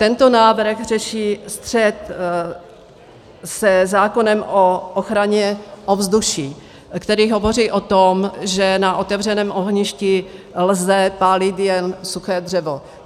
Tento návrh řeší střet se zákonem o ochraně ovzduší, který hovoří o tom, že na otevřeném ohništi lze pálit jen suché dřevo.